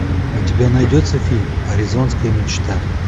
у тебя найдется фильм аризонская мечта